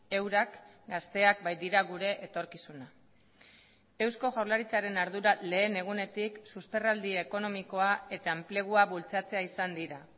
eurak gazteak baitira gure etorkizuna eusko jaurlaritzaren ardura lehen egunetik susperraldi ekonomikoa eta enplegua bultzatzea izan dira